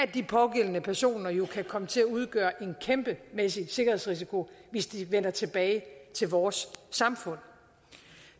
de pågældende personer jo kan komme til at udgøre en kæmpemæssig sikkerhedsrisiko hvis de vender tilbage til vores samfund